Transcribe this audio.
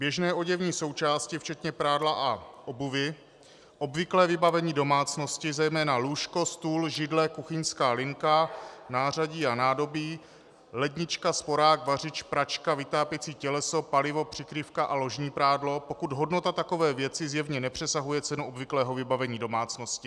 Běžné oděvní součásti včetně prádla a obuvi, obvyklé vybavení domácnosti, zejména lůžko, stůl, židle, kuchyňská linka, nářadí a nádobí, lednička, sporák, vařič, pračka, vytápěcí těleso, palivo, přikrývka a ložní prádlo, pokud hodnota takové věci zjevně nepřesahuje cenu obvyklého vybavení domácnosti.